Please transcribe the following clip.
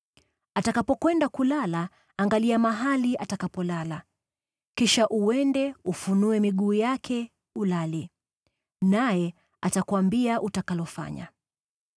Atakapokwenda kulala, angalia mahali atakapolala. Kisha uende ufunue miguu yake, ulale. Naye atakuambia utakalofanya.”